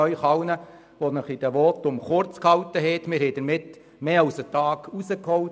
Wir konnten im Vergleich zum geplanten Zeitbudget mehr als einen Tag einsparen.